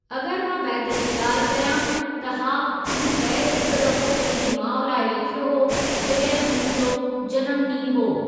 अगरि मां बैत जी ॻाल्हि कयां, त हा मूं बैतु हिक दफ़ो पंहिंजी माउ लाइ लिखियो हो जॾहिं हुननि जो जनमु ॾींहुं हो।